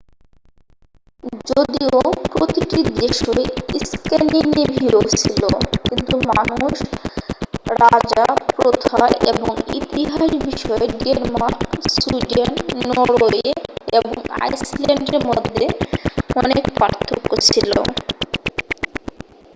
যদিও প্রতিটি দেশই স্ক্যান্ডিনেভীয়' ছিল কিন্তু মানুষ রাজা প্রথা এবং ইতিহাস বিষয়ে ডেনমার্ক সুইডেন নরওয়ে এবং আইস ল্যান্ডের মধ্যে অনেক পার্থক্য ছিল